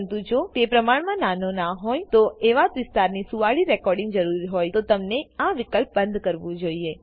પરંતુ જો તે પ્રમાણ માં નાનો ના હોય એવા વિસ્તારની સુવાડી રેકોડીંગની જરૂર હોયતો તમને આ વિકલ્પ બંદ કરવું જોઈએ